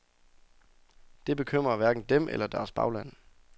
Det bekymrer hverken dem eller deres bagland.